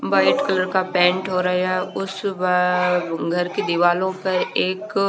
white colour का paint हो रहा उस बार घर की दिवालो पर एक--